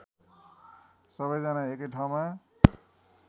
सबैजना एकै ठाउँमा